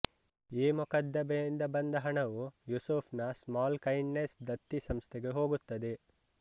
ಈ ಮೊಕದ್ದಮೆಯಿಂದ ಬಂದ ಹಣವು ಯೂಸುಫ್ ನ ಸ್ಮಾಲ್ ಕೈಂಡ್ ನೆಸ್ ದತ್ತಿ ಸಂಸ್ಥೆಗೆ ಹೋಗುತ್ತದೆ